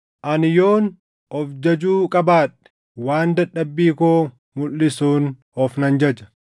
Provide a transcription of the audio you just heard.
Ani yoon of jajuu qabaadhe waan dadhabbii koo mulʼisuun of nan jaja.